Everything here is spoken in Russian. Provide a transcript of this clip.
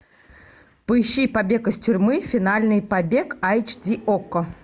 поищи побег из тюрьмы финальный побег айч ди окко